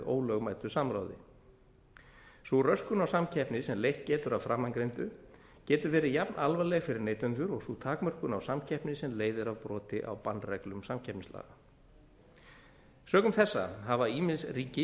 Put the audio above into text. ólögmætu samráði sú röskun á samkeppni sem leitt getur af framangreindu getur verið jafn alvarleg fyrir neytendur og sú takmörkun á samkeppni sem leiðir af broti á bannreglum samkeppnislaga sökum þessa hafa ýmis ríki